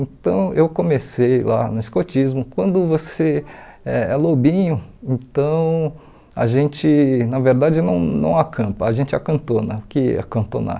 Então eu comecei lá no escotismo, quando você é é lobinho, então a gente na verdade não não acampa, a gente acantona, o que é acantonar?